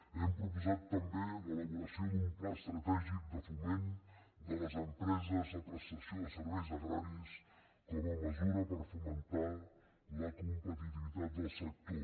hem proposat tam·bé l’elaboració d’un pla estratègic de foment de les empreses de prestació de serveis agraris com a me·sura per fomentar la competitivitat del sector